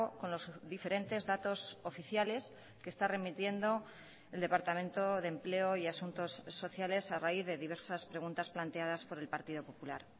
con los diferentes datos oficiales que está remitiendo el departamento de empleo y asuntos sociales a raíz de diversas preguntas planteadas por el partido popular